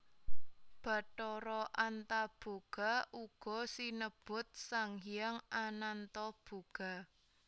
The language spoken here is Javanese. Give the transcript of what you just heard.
Bathara Antaboga uga sinebut Sang Hyang Anantoboga